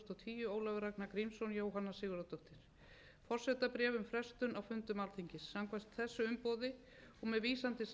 ólafur ragnar grímsson jóhanna sigurðardóttir forsetabréf um frestun á fundum alþingis samkvæmt þessu umboði og með vísan til samþykkis alþingis lýsi ég yfir